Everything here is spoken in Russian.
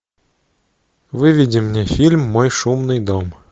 выведи мне фильм мой шумный дом